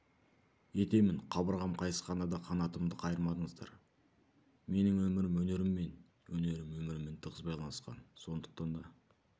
етемін қабырғам қайысқанда да қанатымды қайырмадыңыздар менің өмірім өнеріммен өнерім өміріммен тығыз байланысқан сондықтан да